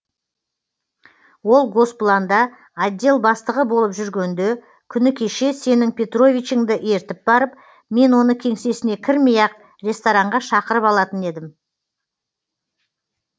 ол госпланда отдел бастығы болып жүргенде күні кеше сенің петровичіңді ертіп барып мен оны кеңсесіне кірмей ақ ресторанға шақырып алатын едім